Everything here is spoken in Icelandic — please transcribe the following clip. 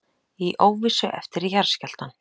Í óvissu eftir jarðskjálftann